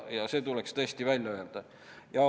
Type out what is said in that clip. See tuleks tõesti välja öelda.